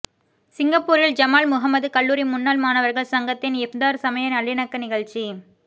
சிங்கப்பூரில் ஜமால் முஹம்மது கல்லூரி முன்னாள் மாணவர்கள் சங்கத்தின் இஃப்தார் சமய நல்லிணக்க நிகழ்ச்சி